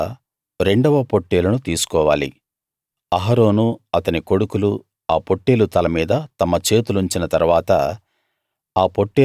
తరువాత రెండవ పొట్టేలును తీసుకోవాలి అహరోను అతని కొడుకులు ఆ పొట్టేలు తల మీద తమ చేతులుంచిన తరువాత